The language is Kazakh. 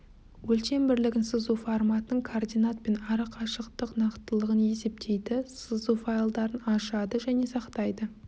өлшем бірлігін сызу форматын координат пен арақашықтық нақтылығын есептейді сызу файлдарын ашады және сақтайды